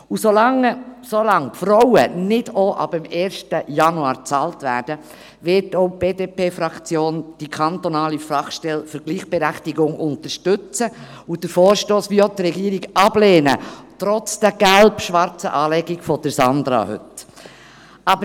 Solange die Frauen nicht auch ab dem 1. Januar bezahlt werden, wird auch die BDP-Fraktion die kantonale Fachstelle für Gleichberechtigung unterstützen und den Vorstoss, wie die Regierung, ablehnen – trotz der gelb-schwarzen Kleidung von Sandra Schneider!